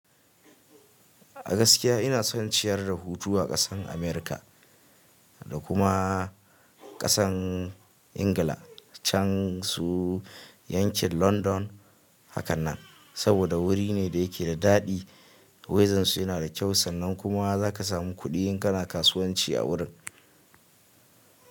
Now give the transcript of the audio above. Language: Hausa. A gaskiya ina son ciyar da hutu a ƙasan Amurka da kuma ƙasan Ingila can su yankin London hakanan. Saboda wuri ne da yake da daɗi, wedan su yana da kyau sannan kuma za ka samu kuɗi in kana kasuwanci a wurin.